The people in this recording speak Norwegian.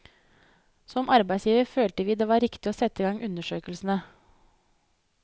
Som arbeidsgiver følte vi det var riktig å sette i gang undersøkelsene.